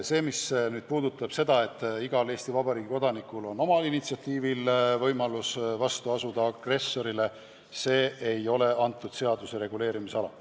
See, et igal Eesti Vabariigi kodanikul on oma initsiatiivil õigus astuda vastu agressorile, ei ole selle seaduse reguleerimisala.